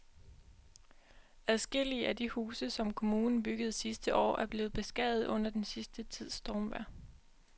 Adskillige af de huse, som kommunen byggede sidste år, er blevet beskadiget under den sidste tids stormvejr.